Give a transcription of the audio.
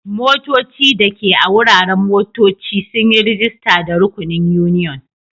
Motoci dake a wuraren motocci sun yi rajista da rukunin union.